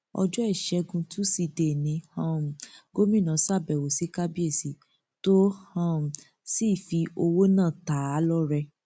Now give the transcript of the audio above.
ọjọ ìṣègùn tusidee ni um gomina ṣàbẹwò sí kábíyèsí tó um sì fi owó náà ta á lọrẹ